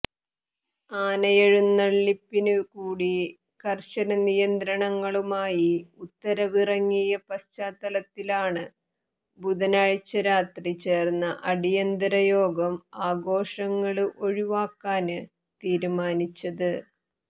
ആനയെഴുന്നള്ളിപ്പിനുകൂടി കര്ശന നിയന്ത്രണങ്ങളുമായി ഉത്തരവ് ഇറങ്ങിയ പശ്ചാത്തലത്തിലാണ് ബുധനാഴ്ച രാത്രി ചേര്ന്ന അടിയന്തര യോഗം ആഘോഷങ്ങള് ഒഴിവാക്കാന് തീരുമാനിച്ചത്